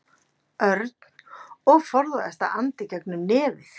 Örn og forðaðist að anda í gegnum nefið.